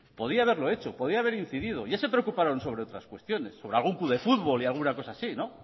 podía haberlo hecho podía haber incidido ya se preocuparon sobre otras cuestiones sobre algún club de fútbol y alguna cosa así no